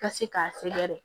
Ka se k'a sɛgɛrɛ